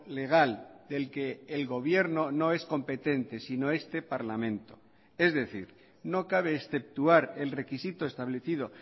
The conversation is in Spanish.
legal del que el gobierno no es competente sino este parlamento es decir no cabe exceptuar el requisito establecido